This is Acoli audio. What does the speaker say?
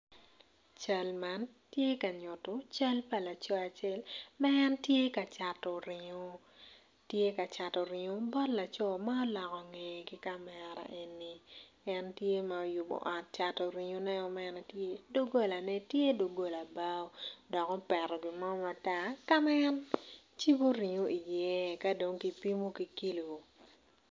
Cal man tye ka nyuto cal pa laco acel ma en tye ka cato ringo bot laco ma oloko ngeye ki kamera eni en tye ma oyubo ot cato ringoneo tye dogolane tye dogol bao dok opeto gin mo matar ka ma en cibo ringo iye ka dong kipimo ki kilo.